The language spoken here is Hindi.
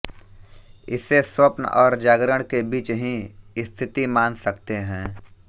इसे स्वप्न और जागरण के बीच ही स्थिति मान सकते हैं